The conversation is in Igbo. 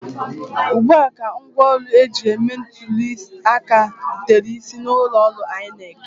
Ugbua ka ngwaọrụ eji eme ntụli aka rutere isi ụlọ ọrụ INEC